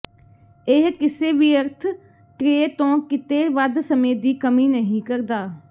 ਇਹ ਕਿਸੇ ਵਿਅਰਥ ਟ੍ਰੇ ਤੋਂ ਕਿਤੇ ਵੱਧ ਸਮੇਂ ਦੀ ਕਮੀ ਨਹੀਂ ਕਰਦਾ